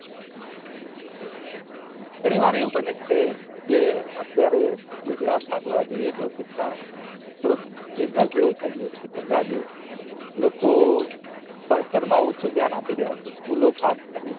ગણી વાર એવું બને છે કે અત્યારે ગુજરાત માં જોવા જાયે તો શિક્ષણ થોડું business જેવું થઇ ગયું છે ધંધા જેવો લોકો ભણતર માં ઓછું ધ્યાન આપી રહ્યા છે school ખાસ કરીને